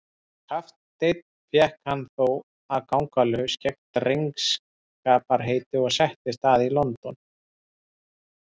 Sem kapteinn fékk hann þó að ganga laus gegn drengskaparheiti og settist að í London.